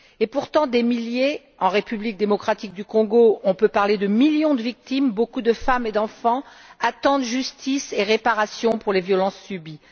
Pourtant, des milliers voire, en République démocratique du Congo, des millions de victimes, dont beaucoup de femmes et d'enfants, attendent justice et réparation pour les violences subies.